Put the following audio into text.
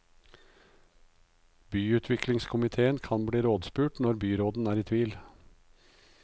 Byutviklingskomitéen kan bli rådspurt når byråden er i tvil.